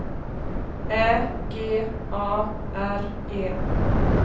Ä G A R E